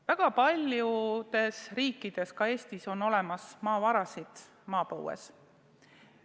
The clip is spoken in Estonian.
Väga paljudes riikides, ka Eestis, on maapõues olemas maavarad.